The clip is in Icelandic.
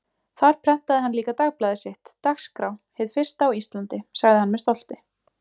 Þar prentaði hann líka dagblaðið sitt, Dagskrá, hið fyrsta á Íslandi, sagði hann með stolti.